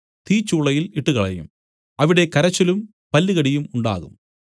തീച്ചൂളയിൽ ഇട്ടുകളയും അവിടെ കരച്ചിലും പല്ലുകടിയും ഉണ്ടാകും